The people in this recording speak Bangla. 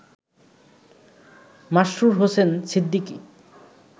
মাসরুর হোসেন সিদ্দিকী